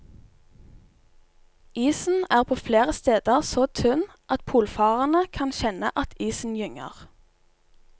Isen er på flere steder så tynn at polfarerne kan kjenne at isen gynger.